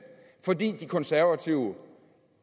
fordi de konservative